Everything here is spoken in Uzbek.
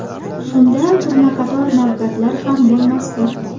Shunda turnaqator navbatlar ham bo‘lmasdi.